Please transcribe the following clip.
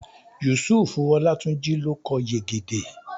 Yusufu Olátúnjí ló kọ Yegede